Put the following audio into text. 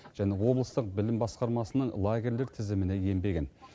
және облыстық білім басқармасының лагерьлер тізіміне енбеген